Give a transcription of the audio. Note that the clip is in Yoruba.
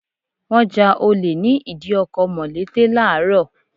Wọ́n ja olè ní ìdí ọkọ̀ mọ̀lété Láàárọ̀.